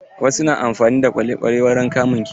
Wasu na amfani da kwale-kwale wurin kamun kifi.